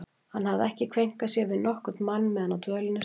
Hann hafði ekki kveinkað sér við nokkurn mann meðan á dvölinni stóð.